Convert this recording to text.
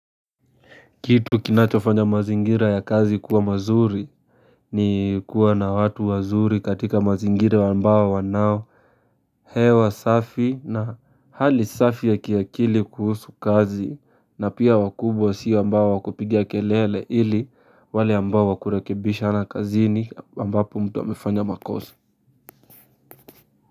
Kitu kinachofanya mazingira ya kazi kuwa mazuri, ni kuwa na watu wazuri katika mazingira ambao wanao hewa safi na hali safi ya kiakili kuhusu kazi na pia wakubwa si wa ambao wa kupiga kelele ili wale ambao wa kurekebishana kazini ambapo mtu amefanya makosa.